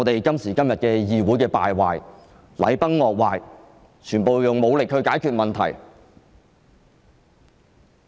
今時今日的議會便是如此敗壞，禮崩樂壞，全部用武力解決問題。